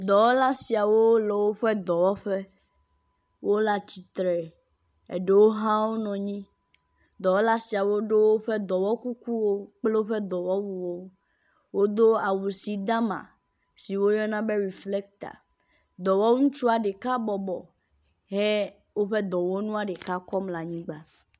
Dɔwɔla siawo le woƒe dɔwɔƒe. wo le atsitre, eɖewo hã wonɔ anyi. Dɔwɔla siawo ɖo woƒe dɔwɔ kukuwo kple woƒe awuwo. Wodo awu si dama si woyɔna be reflecta. Dɔwɔ ŋutua ɖeka bɔbɔ he woƒe dɔwɔnua ɖeka kɔm le anyigba